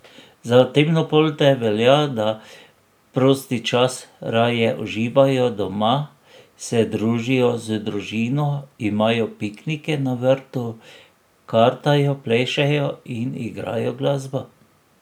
Za temnopolte velja, da prosti čas raje uživajo doma, se družijo z družino, imajo piknike na vrtu, kartajo, plešejo in igrajo glasbo.